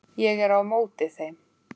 Ég er á móti þeim.